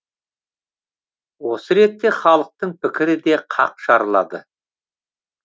осы ретте халықтың пікірі де қақ жарылады